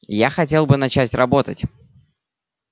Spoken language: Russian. я хотел бы начать работать